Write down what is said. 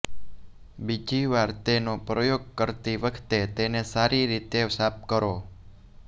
બીજી વાર તેનો પ્રયોગ કરતી વખતે તેને સારી રીતે સાફ કરો